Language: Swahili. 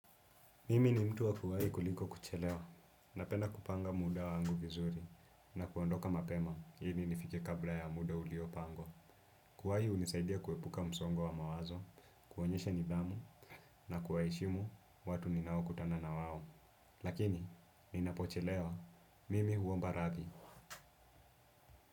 Mimi ni mtu wa kuwai kuliko kuchelewa, na penda kupanga muda wangu vizuri, na kuondoka mapema, ili nifike kabla ya muda uliopangwa. Kuwai hunisaidia kuepuka msongo wa mawazo, kuonyeshe nidhamu, na kuwaheshimu watu ninao kutana na wawo. Lakini, ni napochelewa, mimi huomba radhi.